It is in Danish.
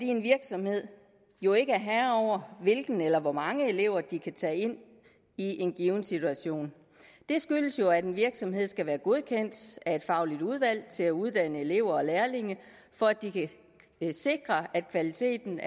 en virksomhed jo ikke er herre over hvilke eller hvor mange elever de kan tage ind i en given situation det skyldes jo at en virksomhed skal være godkendt af et fagligt udvalg til at uddanne elever og lærlinge for at de kan sikre at kvaliteten